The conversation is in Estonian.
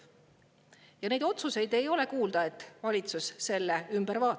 Ja ei ole kuulda otsusest, et valitsus selle ümber vaatab.